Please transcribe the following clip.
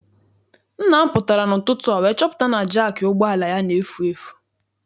Nna m pụtara n'ụtụtụ a wee chọpụta na jaakị ụgbọala ya na-efu efu.